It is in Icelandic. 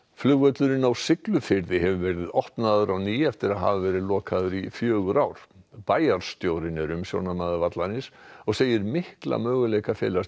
flugvöllurinn á Siglufirði hefur verið opnaður á ný eftir að hafa verið lokaður í fjögur ár bæjarstjórinn er umsjónarmaður vallarins og segir mikla möguleika felast í